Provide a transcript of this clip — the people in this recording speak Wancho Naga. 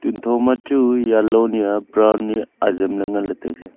tuntho machu yellow haiya brown nyi ajemley nganley tailey.